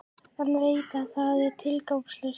En veit að það er tilgangslaust.